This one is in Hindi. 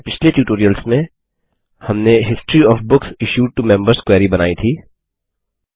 अपने पिछले ट्यूटोरियल्स में हमने history OF books issued to members query बनाई थी